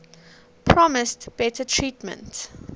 promised better treatment